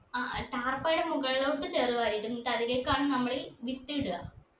ആ അഹ് താർപ്പായിന്റെ മുകളിലോട്ട് ചേർ വാരിയിടും എന്നിട്ട് അതിലേക്കാണ് നമ്മൾ വിത്ത് ഇട